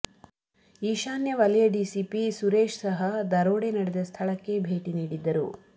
ಈಶಾನ್ಯ ವಲಯ ಡಿಸಿಪಿ ಸುರೇಶ್ ಸಹ ದರೋಡೆ ನಡೆದ ಸ್ಥಳಕ್ಕೆ ಭೇಟಿ ನೀಡಿದ್ದರು